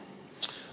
Aitäh!